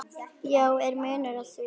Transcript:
Já, er munur á því?